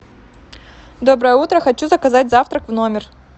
доброе утро хочу заказать завтрак в номер